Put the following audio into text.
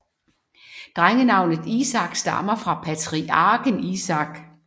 Drengenavnet Isak stammer fra patriarken Isak